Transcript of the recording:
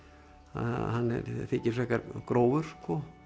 hann þykir frekar grófur